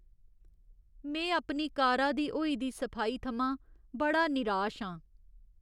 में अपनी कारा दी होई दी सफाई थमां बड़ा निराश आं।